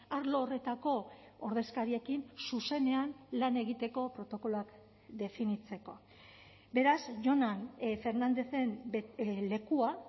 arlo horretako ordezkariekin zuzenean lan egiteko protokoloak definitzeko beraz jonan fernandezen lekua